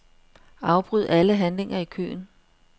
Afbryd alle handlinger i køen.